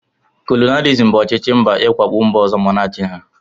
Kolonialisim bụ ọchịchị mba iwakpo mba ọzọ ma na achị ha.